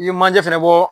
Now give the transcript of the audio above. I ye manje fɛnɛ bɔ